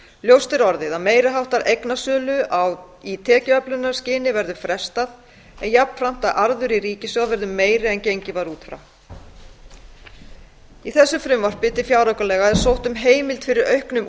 ljóst er orðið að meiri háttar eignasölu í tekjuöflunarskyni verður frestað en jafnframt að arður í ríkissjóð verður meiri en gengið var út frá í þessu frumvarpi til fjáraukalaga er sótt um heimild fyrir auknum